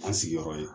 An sigiyɔrɔ ye